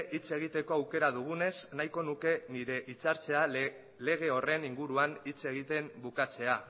hitz egiteko aukera dugunez nahiko nuke nire hitzaldia lege horren inguruan hitz egiten bukatzea